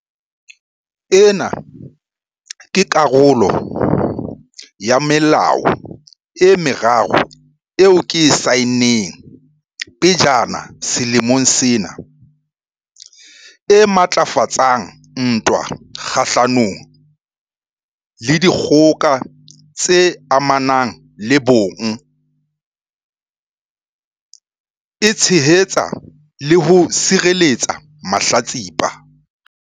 Ena ke karolo ya melao e meraro eo ke e saenneng pejana selemong sena e matlafatsang ntwa kgahlano le dikgoka tse amanang le bong mme e tshehetsa le ho sireletsa mahlatsipa.